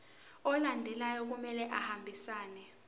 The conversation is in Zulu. alandelayo kumele ahambisane